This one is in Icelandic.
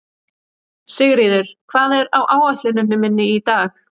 Sigríður, hvað er á áætluninni minni í dag?